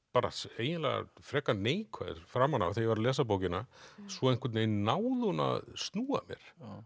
eiginlega frekar neikvæður framan af þegar ég var að lesa bókina svo einhvern veginn náði hún að snúa mér